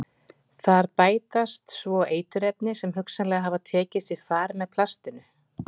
Þar við bætast svo eiturefni sem hugsanlega hafa tekið sér far með plastinu.